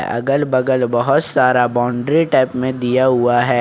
अगल बगल बहोत सारा बाउंड्री टाइप में दिया हुआ है।